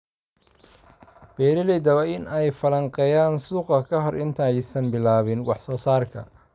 Beeralayda waa in ay falanqeeyaan suuqa ka hor inta aysan bilaabin wax soo saarka.